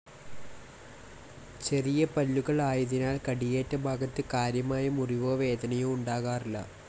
ചെറിയ പല്ലുകൾ ആയതിനാൽ കടിയേറ്റ ഭാഗത്ത് കാര്യമായ മുറിവോ വേദനയോ ഉണ്ടാകാറില്ല.